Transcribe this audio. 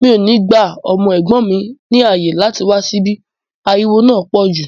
Mi ò ní gba ọmọ ẹ̀gbọ́n mi láàyè láti wá síbí, ariwo náà pọ̀ jù